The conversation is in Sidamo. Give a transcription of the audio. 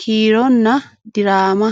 kiironna diraama.